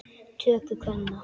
töku kvenna.